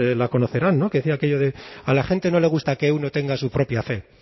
la conocerán que decía aquello de a la gente no le gusta que uno tenga su propia fe